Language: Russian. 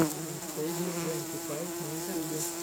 эн стейша твонти файв на ютьюбе